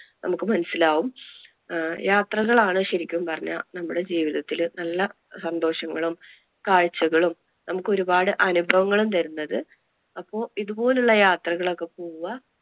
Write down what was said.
നമുക്ക് മനസ്സിലാകും. ആഹ് യാത്രകൾ ആണ് ശെരിക്കും പറഞ്ഞാൽ നമ്മുടെ ജീവിതത്തില് നല്ല സന്തോഷങ്ങളും, കാഴ്ച്ചകളും, നമുക്ക് ഒരുപാട് അനുഭവങ്ങളും തരുന്നത് അപ്പൊ ഇതുപോലുള്ള യാത്രകൾ ഒക്കെ പോവുക.